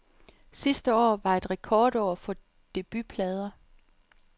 Sidste år var et rekordår for debutplader.